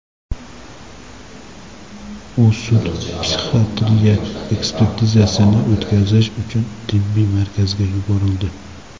U sud-psixiatriya ekspertizasini o‘tkazish uchun tibbiy markazga yuborildi.